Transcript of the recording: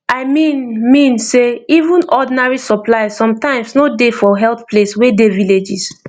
i mean mean sey even ordinary supplies sometimes no dey for health place wey dey villages